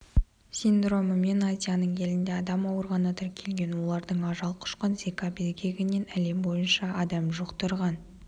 синдромымен азияның елінде адам ауырғаны тіркелген олардың ажал құшқан зика безгегін әлем бойынша адам жұқтырған